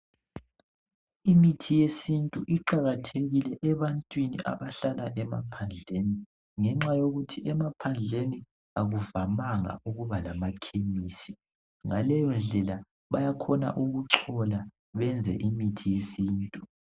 Imithi yesintu iqakathekile ebantwini abahlala emaphandleni ngenxa yokuthi emaphandleni akuvamanga ukuba lama khemisi ngaleyondlela bayakhona ukuthola benze imithi yesintu